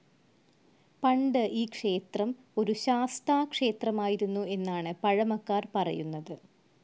പണ്ട് ഈ ക്ഷേത്രം ഒരു ശാസ്താക്ഷേത്രമായിരുന്നു എന്നാണ് പഴമക്കാർ‌ പറയുന്നത്.